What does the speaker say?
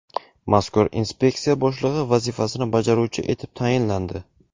mazkur inspeksiya boshlig‘i vazifasini bajaruvchi etib tayinlandi.